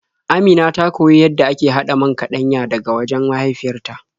Amina ta koyi yadda ake haɗa man kaɗanya daga wajen mahaifyar ta.